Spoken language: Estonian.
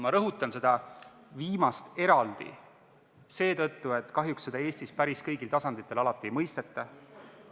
Ma rõhutan seda viimast eraldi seetõttu, et kahjuks seda Eestis päris kõigil tasanditel alati ei mõisteta.